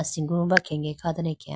asimbo bankhege kha dane akeya.